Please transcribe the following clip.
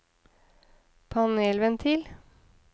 panelventil